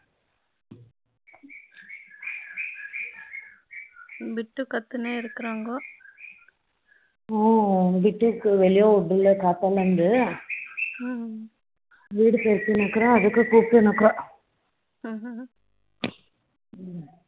பிட்டு கத்தினேன் இருக்கிறாங்கோ ஓ பிட்டுக்கு வெளியே விடல காத்தால இருந்து வீடு பெருக்கின்னு இருக்கிறேன் அதுக்கு கூப்பிட்டே நிக்கிறா